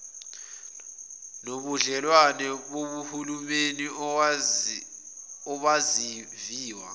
nobudlelwane bohulumeni obaziwa